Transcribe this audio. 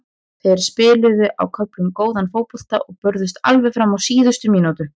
Þeir spiluðu á köflum góðan fótbolta og börðust alveg fram á síðustu mínútu.